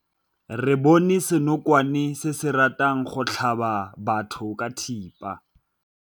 Re bone senokwane se se ratang go tlhaba batho ka thipa.